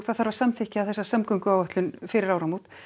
það þarf að samþykkja þessa samgönguáætlun fyrir áramót